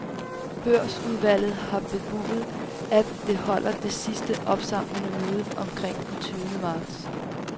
Børsudvalget har bebudet, at det holder det sidste, opsamlende møde omkring den tyvende marts.